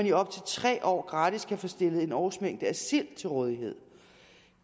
i op til tre år gratis kan få stillet en årsmængde sild til rådighed